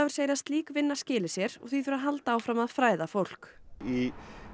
segir að slík vinna skili sér og því þurfi að halda áfram að fræða fólk í